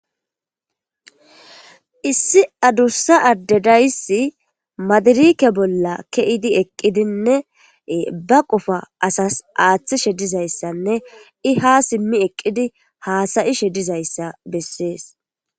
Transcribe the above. Issi adusa ade dizaysi madereke bola ke'idi eqidine ba qofa asatas aaatishe dizaysane izi ha simi eqidi haasa'ishe dizaysa beses.